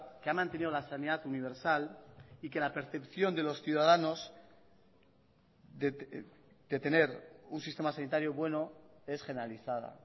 que ha mantenido la sanidad universal y que la percepción de los ciudadanos de tener un sistema sanitario bueno es generalizada